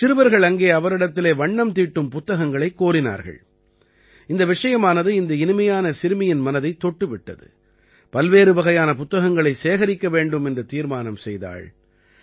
சிறுவர்கள் அங்கே அவரிடத்திலே வண்ணம் தீட்டும் புத்தகங்களைக் கோரினார்கள் இந்த விஷயமானது இந்த இனிமையான சிறுமியின் மனதைத் தொட்டு விட்டது பல்வேறு வகையான புத்தகங்களைச் சேகரிக்க வேண்டும் என்று தீர்மானம் செய்தாள்